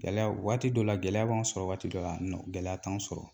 Gɛlɛya waati dɔ la gɛlɛya b'an sɔrɔ waati dɔ la gɛlɛya t'an sɔrɔ